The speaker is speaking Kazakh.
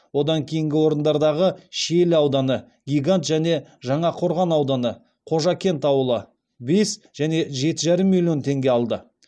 одан кейінгі орындардағы шиелі ауданы гигант және жаңақорған ауданы қожакент ауылы бес және жеті жарым миллион теңге алды